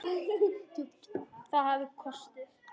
Það hafði kosti.